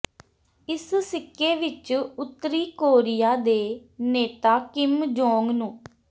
ਇਸ ਸਿੱਕੇ ਵਿਚ ਉੱਤਰੀ ਕੋਰੀਆ ਦੇ ਨੇਤਾ ਕਿਮ ਜੋਂਗ ਨੂੰ